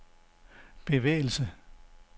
bevægelse